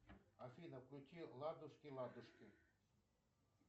афина включи ладушки ладушки